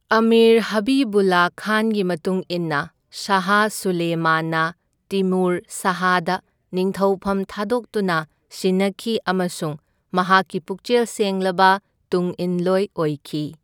ꯑꯃꯤꯔ ꯍꯕꯤꯕꯨꯜꯂ ꯈꯥꯟꯒꯤ ꯃꯇꯨꯡ ꯏꯟꯅ ꯁꯍꯥ ꯁꯨꯂꯦꯃꯥꯟꯅ ꯇꯤꯃꯨꯔ ꯁꯍꯥꯗ ꯅꯤꯡꯊꯧꯐꯝ ꯊꯥꯗꯣꯛꯇꯨꯅ ꯁꯤꯟꯅꯈꯤ ꯑꯃꯁꯨꯡ ꯃꯍꯥꯛꯀꯤ ꯄꯨꯛꯆꯦꯜ ꯁꯦꯡꯂꯕ ꯇꯨꯡꯏꯟꯂꯣꯏ ꯑꯣꯏꯈꯤ꯫